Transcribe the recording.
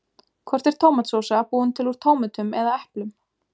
Hvort er tómatsósa búin til úr tómötum eða eplum?